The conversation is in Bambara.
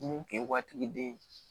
Mun kun ye watigiden ye